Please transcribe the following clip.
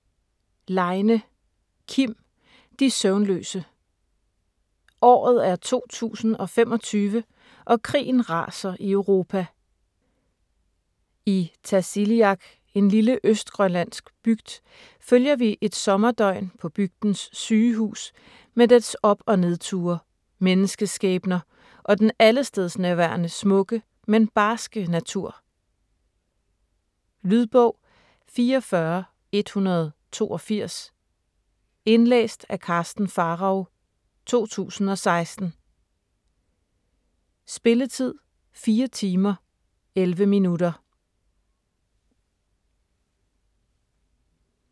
Leine, Kim: De søvnløse Året er 2025 og krigen raser i Europa. I Tasiilaq - en lille østgrønlandsk bygd - følger vi et sommerdøgn på bygdens sygehus med dets op- og nedture, menneskeskæbner og den allestedsnærværende smukke, men barske natur. Lydbog 44182 Indlæst af Karsten Pharao, 2016. Spilletid: 4 timer, 11 minutter.